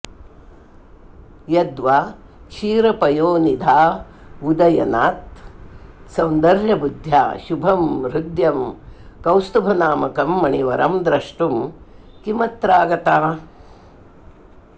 यद्वा क्षीरपयोनिधावुदयनात् सौन्दर्यबुद्ध्या शुभं हृद्यं कौस्तुभनामकं मणिवरं द्रष्टुं किमत्रागता